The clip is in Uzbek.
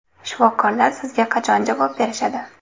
Shifokorlar sizga qachon javob berishadi?